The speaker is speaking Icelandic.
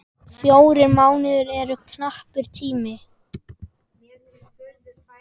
Fjórir mánuðir eru knappur tími.